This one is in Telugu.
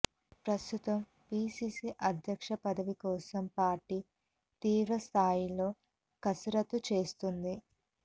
ప్రస్తుతం పిసిసి అధ్యక్ష పదవి కోసం పార్టీ తీవ్రస్థాయిలో కసరత్తు చేస్తోంది